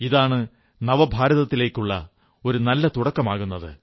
ഇതാണ് നവഭാരത്തിലേക്കുള്ള ഒരു നല്ല തുടക്കമാകുന്നത്